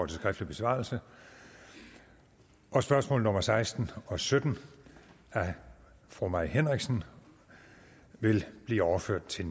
skriftlig besvarelse og spørgsmål nummer seksten og sytten af fru mai henriksen vil blive overført til